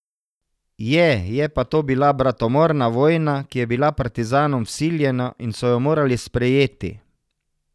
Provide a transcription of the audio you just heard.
Je, je pa to bila bratomorna vojna, ki je bila partizanom vsiljena in so jo morali sprejeti.